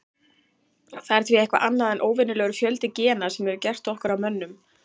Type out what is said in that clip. Það er því eitthvað annað en óvenjulegur fjöldi gena sem hefur gert okkur að mönnum.